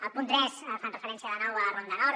al punt tres fan referència de nou a la ronda nord